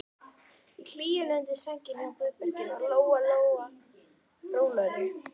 Í hlýjunni undir sænginni hjá Guðbergi varð Lóa Lóa rólegri.